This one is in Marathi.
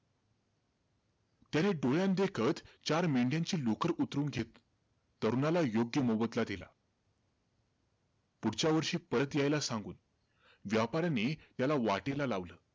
त्याने डोळ्यांदेखत चार मेंढ्यांची लोकर उतरवून घेतली. तरुणाला योग्य मोबदला दिला. पुढच्या वर्षी परत यायला सांगून, व्यापाराने त्याला वाटेल लावलं.